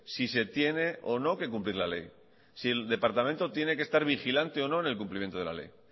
si se tiene o no que cumplir la ley si el departamento tiene que estar vigilante o no en el cumplimiento de la ley